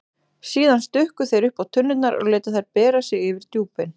Síðan stukku þeir uppá tunnurnar og létu þær bera sig yfir djúpin.